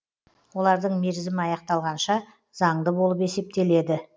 олардың мерзімі аяқталғанша заңды болып есептеледі